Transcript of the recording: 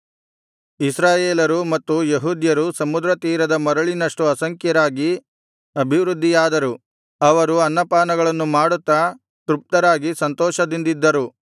ಇಸ್ರಾಯೇಲರು ಮತ್ತು ಯೆಹೂದ್ಯರು ಸಮುದ್ರ ತೀರದ ಮರಳಿನಷ್ಟು ಅಸಂಖ್ಯರಾಗಿ ಅಭಿವೃದ್ಧಿಯಾದರು ಅವರು ಅನ್ನಪಾನಗಳನ್ನು ಮಾಡುತ್ತಾ ತೃಪ್ತರಾಗಿ ಸಂತೋಷದಿಂದಿದ್ದರು